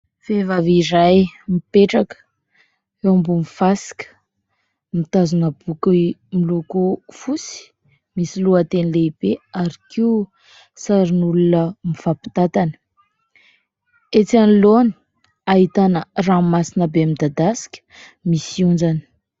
Vehivavy iray mipetraka, eo ambony fasika mitazona boky miloko fotsy, misy lohateny lehibe ary koa sarin'olona mifampitantana. Etsy anoloana ahitana ranomasina be midadasika, misy onjany.